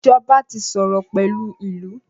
ìjọba tí sòrò pẹlú ilú.